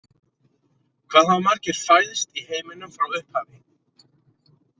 Hvað hafa margir fæðst í heiminum frá upphafi?